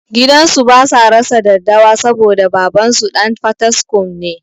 Gidansu basa rasa daddawa saboda babansu ɗan fataskum ne